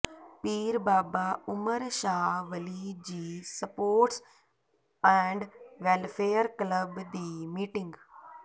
ਪੀਰ Baba Umar Shah Wali ji sports and welfare club ਦੀ meeting